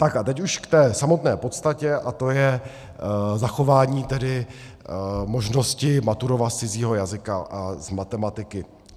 Tak a teď už k té samotné podstatě a tou je zachování tedy možnosti maturovat z cizího jazyka a z matematiky.